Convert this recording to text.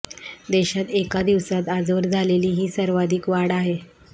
देशात एका दिवसात आजवर झालेली ही सर्वाधिक वाढ आहे